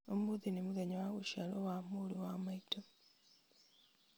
ũmũthi nĩ mũthenya wa gũciarwo wa mũrũ wa maitũ